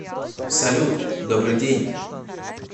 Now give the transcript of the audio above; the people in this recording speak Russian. салют добрый день